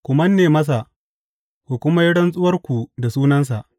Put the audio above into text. Ku manne masa, ku kuma yi rantsuwarku da sunansa.